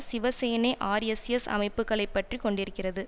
சிவ Sena RSS அமைப்புக்களைப் பற்றி கொண்டிருக்கிறது